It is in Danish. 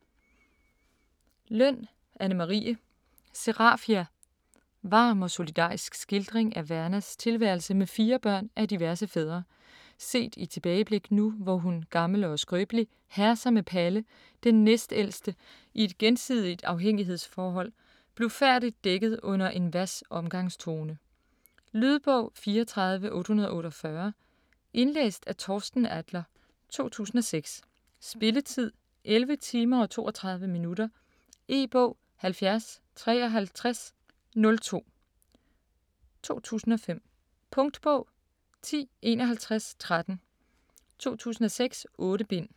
Løn, Anne Marie: Serafia Varm og solidarisk skildring af Vernas tilværelse med fire børn af diverse fædre, set i tilbageblik nu hvor hun, gammel og skrøbelig, herser med Palle, den næstældste, i et gensidigt afhængighedsforhold, blufærdigt dækket under en hvas omgangstone. Lydbog 34848 Indlæst af Torsten Adler, 2006. Spilletid: 11 timer, 32 minutter. E-bog 705302 2005. Punktbog 105113 2006. 8 bind.